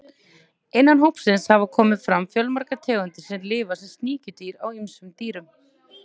Innan hópsins hafa komið fram fjölmargar tegundir sem lifa sem sníkjudýr á ýmsum dýrum.